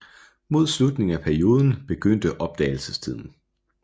Mod slutningen af perioden begyndte opdagelsestiden